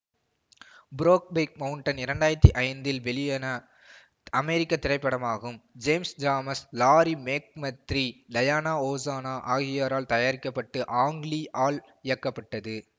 Brokeback Mountain இரண்டாயிரத்தி ஐந்தில் வெளியன அமெரிக்க திரைப்படமாகும் James Schamus Larry McMurtry Diana Ossana ஆகியோரால் தயாரிக்க பட்டு ஆங் லீ ஆல் இயக்கப்பட்டது